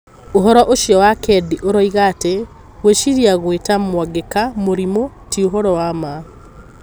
Ũhoro ũcio wa Kendi ũroiga atĩ: Gwĩciria gwĩta Mwangeka 'mũrimũ' ti ũhoro wa ma.